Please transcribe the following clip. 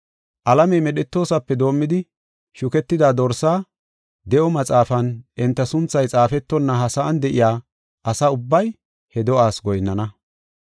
Alamey medhetoosape doomidi, shuketida Dorsaa de7o maxaafan enta sunthay xaafetonna ha sa7an de7iya asa ubbay he do7aas goyinnana.